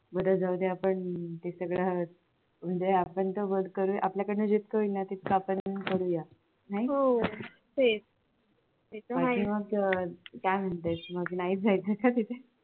बर जाऊदे आपण ते सगळं म्हणजे आपण आपल्याकडून जितकं होईल न तितकं आपण करूया नाही आणि मग काय म्हणतेस मग नाहीच जायचं का तिथे